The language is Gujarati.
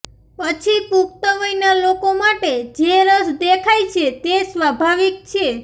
પછી પુખ્ત વયના લોકો માટે જે રસ દેખાય છે તે સ્વાભાવિક છે